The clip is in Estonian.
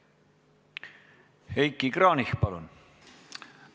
Heiki Kranich, palun!